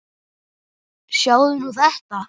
Sjáðu nú þetta!